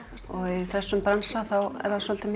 í þessum bransa er það svolítið